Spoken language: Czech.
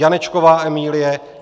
Janečková Emilie